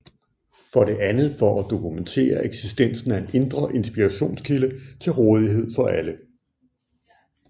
For det andet for at dokumentere eksistensen af en indre inspirations kilde til rådighed for alle